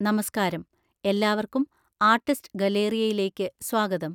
നമസ്കാരം, എല്ലാവർക്കും ആർട്ടിസ്റ്റ്സ് ഗലേറിയയിലേക്ക് സ്വാഗതം.